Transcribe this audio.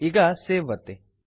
ಈಗ ಸೇವ್ ಒತ್ತಿ